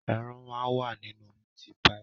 Ẹran máa ń wà nínú mítí paì.